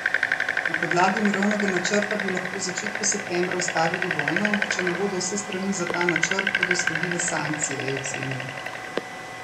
Na podlagi mirovnega načrta bi lahko v začetku septembra ustavili vojno, če ne bodo vse strani za ta načrt, bodo sledile sankcije, je ocenil.